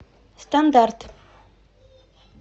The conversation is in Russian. стандарт